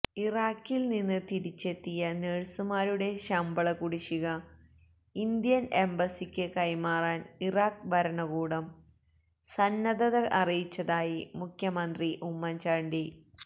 ഇറാഖില് നിന്ന് തിരിച്ചെത്തിയ നഴ്സുമാരുടെ ശമ്പള കുടിശിക ഇന്ത്യന് എംബസിക്ക് കൈമാറാന് ഇറാഖ് ഭരണകൂടം സന്നദ്ധത അറിയിച്ചതായി മുഖ്യമന്ത്രി ഉമ്മന്ചാണ്ടി